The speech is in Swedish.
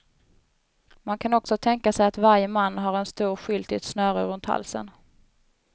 Man kan också tänka sig att varje man har en stor skylt i ett snöre runt halsen.